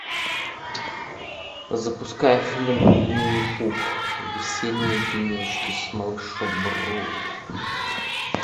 запускай фильм винни пух весенние денечки с малышом ру